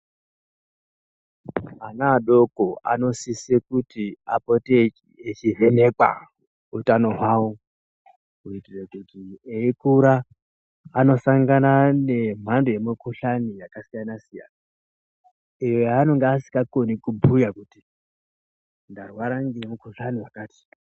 Ana adoko anodise kuti apote echivhenekwa utano hwavo kuitira kuti eyikura anosangana nemhando yemukhuhlani yakasiyana siyana yanenge asingakoni kubhuya kuti ndarwara ngemukhuhlani wakati